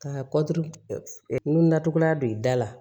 Ka n natogoya don i da la